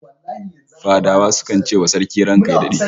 Fadawa sukan ce wa Sarki "ranka ya dade"